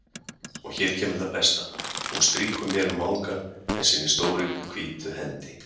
Og hér kemur það besta: Hún strýkur mér um vangann með sinni stóru hvítu hendi.